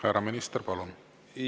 Härra minister, palun!